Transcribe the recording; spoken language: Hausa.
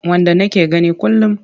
Wanda nake gani kullum.